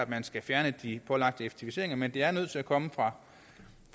man skal fjerne de pålagte effektiviseringer men det er nødt til at komme fra